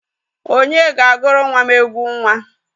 Onye ga-aguru nwa m egwu nwa?